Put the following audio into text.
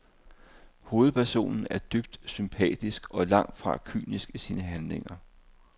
Hovedpersonen er dybt sympatisk og langt fra kynisk i sine handlinger.